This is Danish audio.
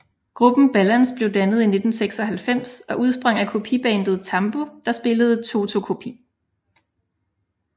Gruppen Balance blev dannet i 1996 og udsprang af kopibandet TAMBU der spillede Toto kopi